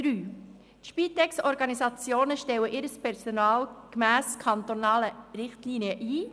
Die Spitex-Organisationen stellen ihr Personal gemäss kantonalen Richtlinien ein.